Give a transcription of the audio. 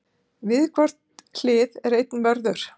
við hvort hlið er einn vörður